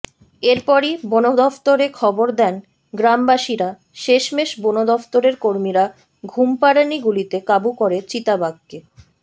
এরপরই বনদফতরে খবর দেন গ্রামবাসীরা শেষমেশ বনদফতরের কর্মীরা ঘুমপাড়ানি গুলিতে কাবু করে চিতাবাঘকে